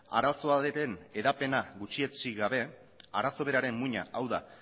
arazoa denen hedapena gutxietsi gabe arazo beraren muina hau da